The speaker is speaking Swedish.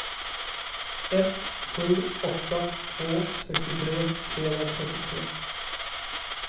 ett sju åtta två sextiotre trehundratrettiotre